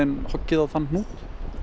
hoggið á þann hnút